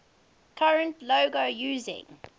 current logo using